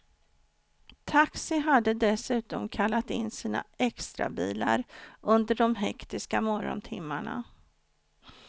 Taxi hade dessutom kallat in sina extrabilar under de hektiska morgontimmarna.